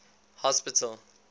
hospital